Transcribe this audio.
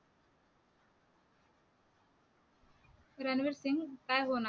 रणवीर सिंग काय होणार?